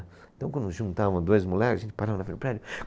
Então, quando juntava dois moleques, a gente parava naquele prédio.